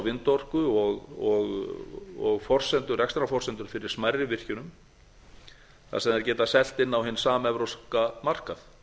vindorku og rekstrarforsendur fyrir smærri virkjunum þar sem þær geta selt inn á hinn samevrópska markað